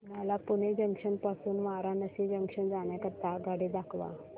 मला पुणे जंक्शन पासून वाराणसी जंक्शन जाण्या करीता आगगाडी दाखवा